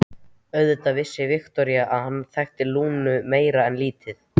Auðvitað vissi Viktoría að hann þekkti Lúnu meira en lítið.